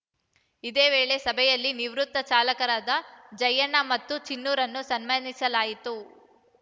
ಇದೇ ವೇಳೆ ಸಭೆಯಲ್ಲಿ ನಿವೃತ್ತ ಚಾಲಕರಾದ ಜಯ್ಯಣ್ಣ ಮತ್ತು ಚಿನ್ನುರನ್ನು ಸನ್ಮಾನಿಸಲಾಯಿತು